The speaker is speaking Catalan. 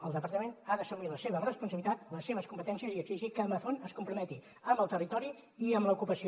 el departament ha d’assumir la seva responsabilitat les seves competències i exigir que amazon es comprometi amb el territori i amb l’ocupació